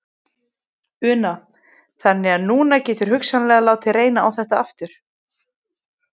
Una: Þannig að núna geturðu hugsanlega látið reyna á þetta aftur?